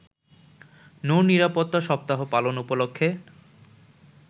নৌ নিরাপত্তা সপ্তাহ পালন উপলক্ষে